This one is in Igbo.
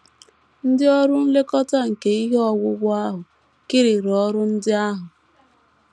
Ndị ọrụ nlekọta nke ihe owuwu ahụ kiriri ọrụ ndị ahụ.